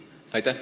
Aitäh!